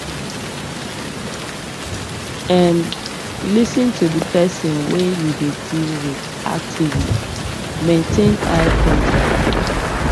um lis ten to the person wey you dey deal with actively maintain eye contact